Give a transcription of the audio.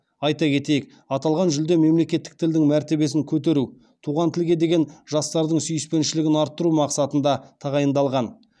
айта кетейік аталған жүлде мемлекеттік тілдің мәртебесін көтеру туған тілге деген жастардың сүйіспеншілігін арттыру мақсатында тағайындалған